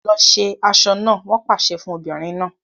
Lọ ṣe aṣọ náà! Wọn pàṣẹ fún obìnrin náà.